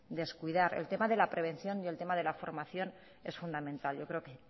descuidar el tema de la prevención y el tema de la formación es fundamental yo creo que